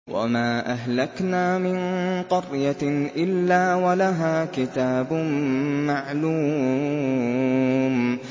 وَمَا أَهْلَكْنَا مِن قَرْيَةٍ إِلَّا وَلَهَا كِتَابٌ مَّعْلُومٌ